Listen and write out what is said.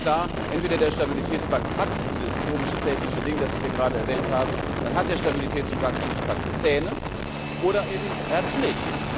Ganz klar, entweder der Stabilitätspakt hat dieses komische technische Ding, das ich gerade erwähnt habe, dann hat der Stabilitäts und Wachstumspakt Zähne, oder eben er hat es nicht.